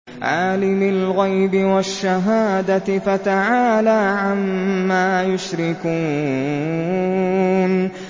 عَالِمِ الْغَيْبِ وَالشَّهَادَةِ فَتَعَالَىٰ عَمَّا يُشْرِكُونَ